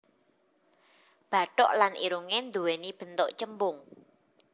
Bathuk lan irungé nduwéni bentuk cembung